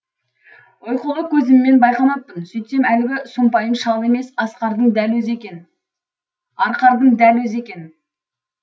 ұйқылы көзіммен байқамаппын сөйтсем әлгі сұмпайым шал емес арқардың дәл өзі екен